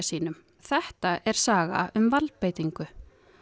sínum þetta er saga um valdbeitingu